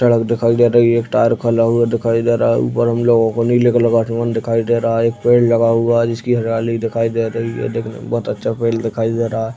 सड़क दिखाई दे रही है। एक टायर खुला हुआ दिखाई दे रहा है। ऊपर हम लोगो को नीले कलर का आसमान दिखाई दे रहा है। एक पेड़ लगा हुआ है जिसकी हरियाली दिखाई दे रही है। देखने में बोहत अच्छा पेड़ दिखाई दे रहा है।